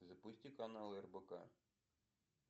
запусти канал рбк